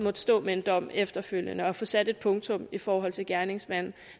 at stå med en dom efterfølgende og kunne få sat et punktum i forhold til gerningsmanden